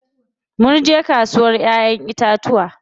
Munje kasuwar ƴaƴen itacuwa yau.